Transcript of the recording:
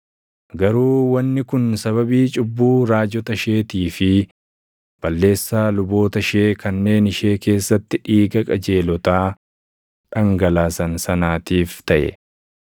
Garuu wanni kun sababii cubbuu raajota isheetii fi balleessaa luboota ishee kanneen ishee keessatti dhiiga qajeelotaa dhangalaasan sanaatiif taʼe.